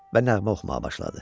Və nəğmə oxumağa başladı.